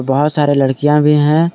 बहोत सारे लड़कियां भी हैं।